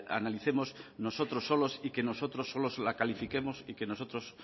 analicemos nosotros solos y que nosotros solos la califiquemos y que nosotros